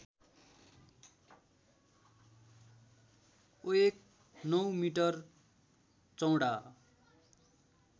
ओएक ९ metre चौडा